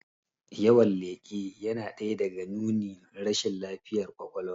Yawan leƙe yana ɗaya daga nunin rashin lafiyan kwakwalwa